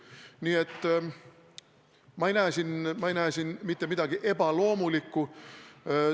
Nii et ma ei näe siin mitte midagi ebaloomulikku.